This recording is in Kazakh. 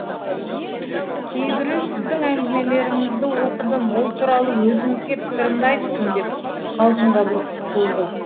кейбірі сіздің әңгімелеріңізді оқыдым ол туралы өзіңізге пікірімді айттым деп қалжыңға бұрып құтылды